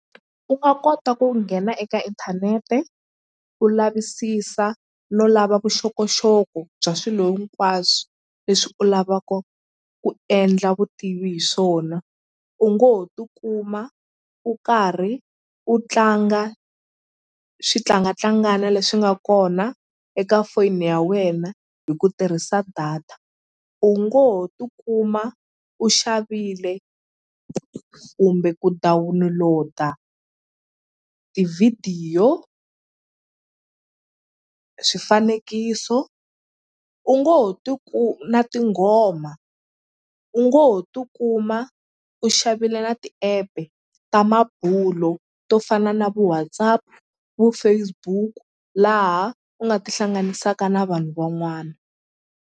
U nga kota ku nghena eka inthanete u lavisisa no lava vuxokoxoko bya swilo hinkwaswo leswi u lavaka ku endla vutivi hi swona u ngo ho tikuma u karhi u tlanga swi tlangatlangana leswi nga kona eka foni ya wena hi ku tirhisa data u ngo ho tikuma u xavile kumbe ku download-a tivhidiyo swifanekiso u ngo ho na tinghoma u ngo ho tikuma u xavile na ti-app-e ta mabulo to fana na vo WhatsApp vo Facebook laha u nga ti hlanganisaka na vanhu van'wana.